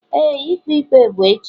Éè, ikpe ikpe bụ echi.